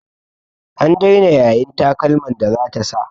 An daina yayin takalman da zata sa.